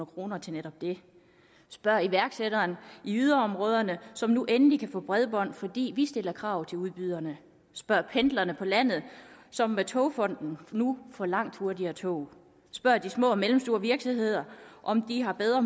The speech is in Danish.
kroner til netop det spørg iværksætteren i yderområderne som nu endelig kan få bredbånd fordi vi stiller krav til udbyderne spørg pendlerne på landet som med togfonden nu får langt hurtigere tog spørg de små og mellemstore virksomheder om de har bedre